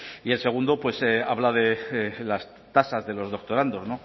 y el segundo habla de las tasas de los doctorandos